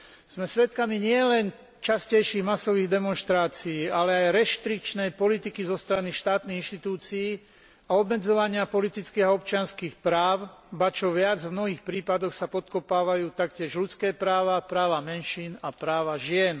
Sme svedkami nielen častejších masových demonštrácií, ale aj reštrikčnej politiky zo strany štátnych inštitúcií a obmedzovania politických a občianskych práv, ba čo viac, v mnohých prípadoch sa podkopávajú taktiež ľudské práva, práva menšín a práva žien.